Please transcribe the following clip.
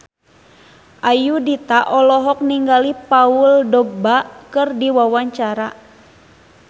Ayudhita olohok ningali Paul Dogba keur diwawancara